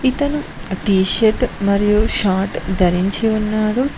ఇతను T shirt మరియు short ధరించి ఉన్నాడు.